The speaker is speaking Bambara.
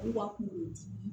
U ka kungo di